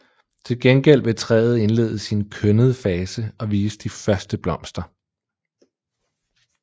Til gengæld vil træet indlede sin kønnede fase og vise de første blomster